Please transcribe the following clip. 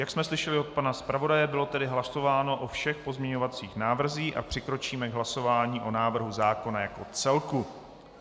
Jak jsme slyšeli od pana zpravodaje, bylo tedy hlasováno o všech pozměňovacích návrzích a přikročíme k hlasování o návrhu zákona jako celku.